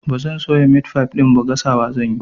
Ba zan soya meat pie ɗin ba, gasawa zan yi.